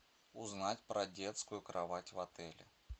узнать про детскую кровать в отеле